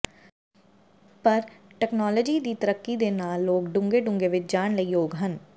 ਪਰ ਤਕਨਾਲੋਜੀ ਦੀ ਤਰੱਕੀ ਦੇ ਨਾਲ ਲੋਕ ਡੂੰਘੇ ਡੂੰਘੇ ਵਿੱਚ ਜਾਣ ਲਈ ਯੋਗ ਹਨ